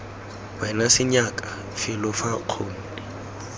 wena senyaka felo fa nkgonne